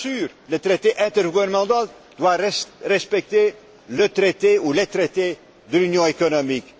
Bien sûr, le traité intergouvernemental doit respecter le traité ou les traités de l'Union économique.